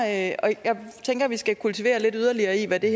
at vi skal kultivere lidt yderligere i hvad det